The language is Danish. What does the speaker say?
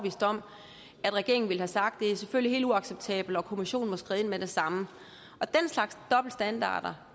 at regeringen ville have sagt det er selvfølgelig helt uacceptabelt og kommissionen må skride ind med det samme den slags dobbeltstandarder